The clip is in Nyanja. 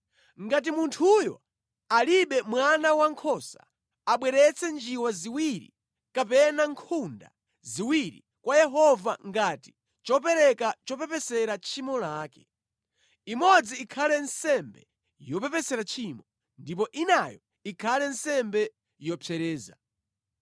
“ ‘Ngati munthuyo alibe mwana wankhosa, abweretse njiwa ziwiri kapena nkhunda ziwiri kwa Yehova ngati chopereka chopepesera tchimo lake. Imodzi ikhale nsembe yopepesera tchimo, ndipo inayo ikhale nsembe yopsereza.